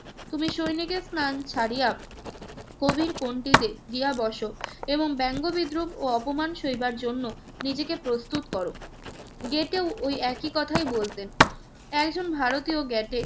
তুমি সৈনিকের স্থান ছাড়িয়া কবির পঙক্তিতে গিয়া বস এবং ব্যঙ্গ-বিদ্রুপ ও অপমান সইবার জন্য নিজেকে প্রস্তুত কর। যে কেউ ওই একই কথাই বলতেন। একজন ভারতীয় গ্যেটে